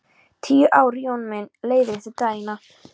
Tíu ár Jón minn, leiðrétti Daðína.